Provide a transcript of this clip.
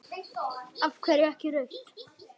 Af hverju ekki rautt?